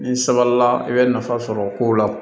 Ni sabali la i bɛ nafa sɔrɔ o kow la